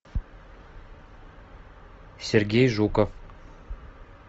сергей жуков